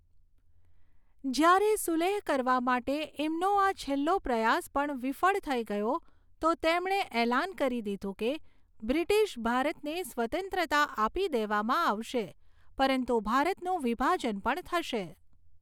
જ્યારે સુલેહ કરવા માટે એમનો આ છેલ્લો પ્રયાસ પણ વિફળ થઈ ગયો તો તેમણે એલાન કરી દીધું કે બ્રિટિશ ભારતને સ્વતંત્રતા આપી દેવામાં આવશે પરંતુ ભારતનું વિભાજન પણ થશે.